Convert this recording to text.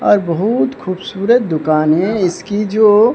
और बहुत खूबसूरत दुकान है इसकी जो--